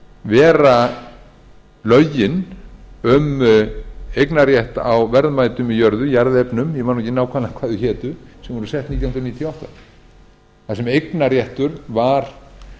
vera lögin um eignarréttinn á verðmætum í jörðu jarðefni ég man nú ekki nákvæmlega hvað þau hétu sem voru sett nítján hundruð níutíu og átta þar sem eignarréttur var